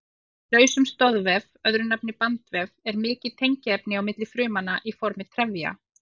Í lausum stoðvef, öðru nafni bandvef, er mikið tengiefni á milli frumnanna í formi trefja.